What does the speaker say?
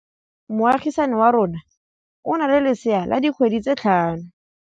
Moagisane wa rona o na le lesea la dikgwedi tse tlhano.